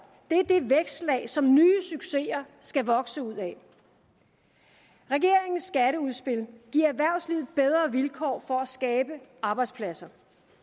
det vækstlag som nye succeser skal vokse ud af regeringens skatteudspil giver erhvervslivet bedre vilkår for at skabe arbejdspladser